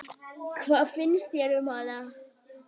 Hvað finnst þér um hana?